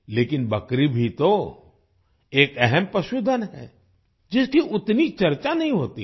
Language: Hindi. लेकिन बकरी भी तो एक अहम पशुधन है जिसकी उतनी चर्चा नहीं होती है